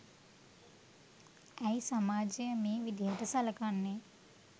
ඇයි සමාජය මේ විදිහට සලකන්නේ